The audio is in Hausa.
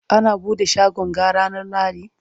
ana buɗe shagon ga ranar lahadi?